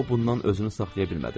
O bundan özünü saxlaya bilmədi.